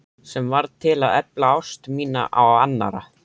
Sem varð til að efla ást mína á annarri.